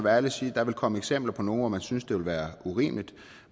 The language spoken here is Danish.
ærlig og sige at der vil komme eksempler på nogle hvor man synes det vil være urimeligt